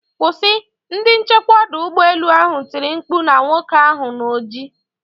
Kwụsị!,ndi nchekwa odu ugbo elu ahụ tiri mkpu na nwoke ahụ na oji.